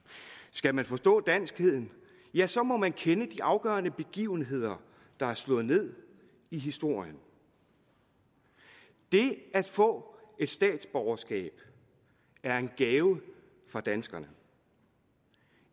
skal man forstå danskheden ja så må man kende de afgørende begivenheder der er slået ned i historien det at få et statsborgerskab er en gave fra danskerne